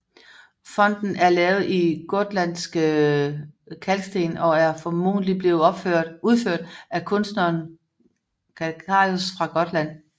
Fonten er lavet i gotlandsk kalksten og er formodentlig blevet udført af kunstneren Calcarius fra Gotland